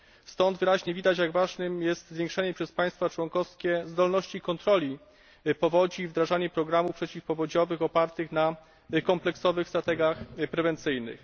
Stąd wyraźnie widać, jak ważne jest zwiększenie przez państwa członkowskie zdolności kontroli powodzi i wdrażanie programów przeciwpowodziowych opartych na kompleksowych strategiach prewencyjnych.